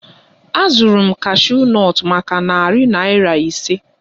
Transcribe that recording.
Azụrụ m cashew nut maka narị naira ise